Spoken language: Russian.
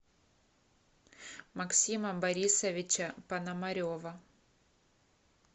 максима борисовича пономарева